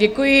Děkuji.